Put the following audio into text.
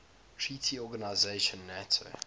treaty organization nato